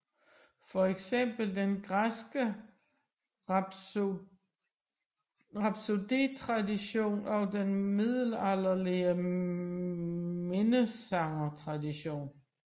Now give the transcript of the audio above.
Fx den græske rhapsodetradition og den middelalderlige minnesangertradition